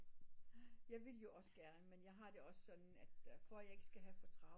Nej jeg vil jo også gerne men jeg har det sådan at for at jeg ikke skal have for travlt